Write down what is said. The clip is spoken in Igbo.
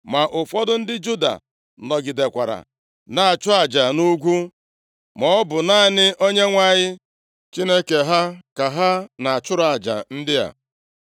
Ma ụfọdụ ndị Juda nọgidekwara na-achụ aja nʼugwu, maọbụ naanị Onyenwe anyị Chineke ha ka ha na-achụrụ aja ndị a.